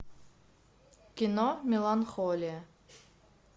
кино меланхолия